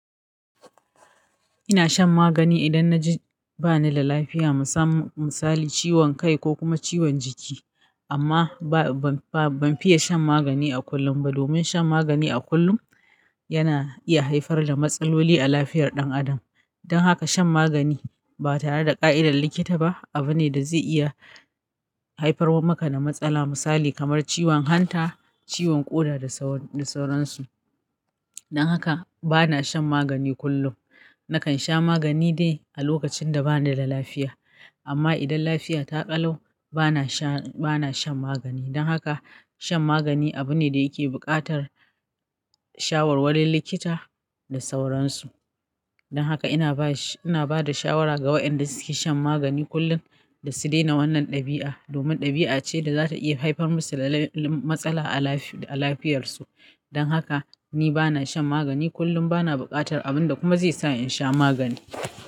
Ina shan magani idan na ji ba ni da lafiya, misali ciwon kai ko kuma ciwon jiki. Amma ba-ba-ban fiya shan magani a kullum ba. Domin shan magani a kullum yana iya haifar da matsaloli a lafiyar ɗan adam. Dan haka shan magani ba tare da ƙa'idar likita ba abu ne da zai iya haifar wa maka da matsala misali kamar ciwon hanta, ciwon ƙoda da sauran su. Dan haka bana shan magani kullum. Nakan sha magani dai a lokacin da ba ni da lafiya. Amma idan lafiya ta ƙalau bana shan, bana shan magani. Dan haka shan magani abu ne da yake buƙatar shawarwarin likita da sauran su. Dan haka ina ba sh-- ina ba da shawara ga waɗanda suke shan magani kullum da su daina wannan ɗabi'a. Domin ɗabi'a ce da za ta iya haifar musu da lan-lan-matsala a lafiyar su. Dan haka ni bana shan magani kullum, bana buƙatar abun da kuma zai sa in sha magani.